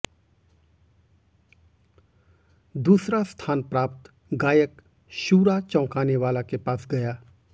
दूसरा स्थान प्राप्त गायक शूरा चौंकाने वाला के पास गया